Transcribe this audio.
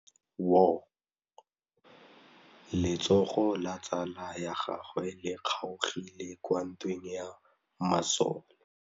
Letsôgô la tsala ya gagwe le kgaogile kwa ntweng ya masole.